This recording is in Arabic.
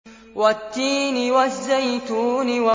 وَالتِّينِ وَالزَّيْتُونِ